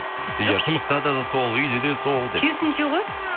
иә жұмыстада да сол үйде де сол деп керісіңше ғой